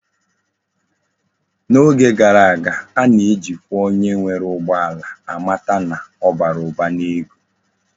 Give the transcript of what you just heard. N'oge gara aga, a na ejikwa onye nwere ugbo ala amata na obara Uba na ego